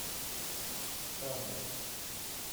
кадр